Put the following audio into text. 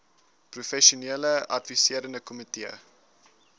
professionele adviserende komitee